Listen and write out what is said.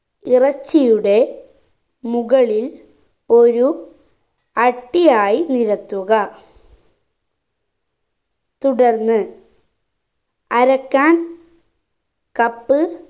ഇറച്ചിയുടെ മുകളിൽ ഒരു അടിയായി നിരത്തുക തുടർന്ന് അരക്കാൻ cup